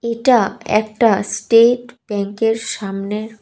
এটা একটা স্টেট ব্যাঙ্কের সামনের--